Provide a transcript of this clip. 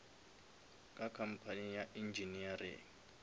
ka company ya engineering